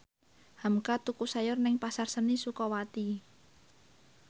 hamka tuku sayur nang Pasar Seni Sukawati